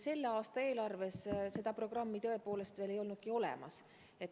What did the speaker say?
Selle aasta eelarves seda programmi tõepoolest veel ei olnudki olemas.